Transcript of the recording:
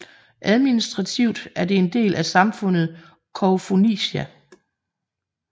Administrativt er det en del af samfundet Koufonisia